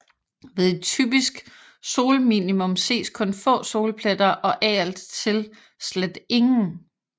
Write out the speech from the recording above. Ved et typisk solminimum ses kun få solpletter og af og til slet ingen